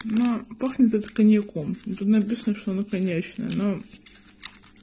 ну пахнет это коньяком ну тут написано что оно коньячное но